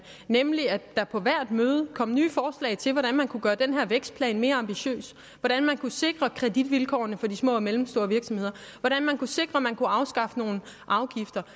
nemlig at der på hvert møde kom nye forslag til hvordan man kunne gøre den her vækstplan mere ambitiøs hvordan man kunne sikre kreditvilkårene for de små og mellemstore virksomheder hvordan man kunne sikre at man kunne afskaffe nogle afgifter